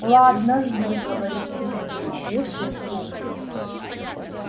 ладно жду говорит сергей и вешает трубку